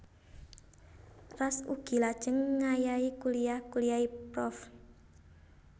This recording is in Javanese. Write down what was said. Ras ugi lajeng ngayahi kuliyah kuliyahé prof